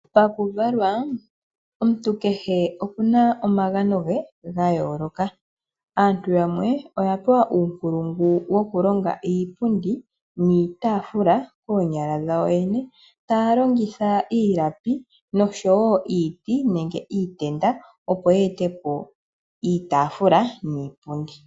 Pakuvalwa omuntu kehe okuna omagano ge gayooloka. Aantu yamwe oya pewa uunkulungu wokulonga iipundi niitafula koonyala dhawo yene, taya longitha iilapi noshowoo iiti nenge iitenda opo yeetepo iitaafula niipundi.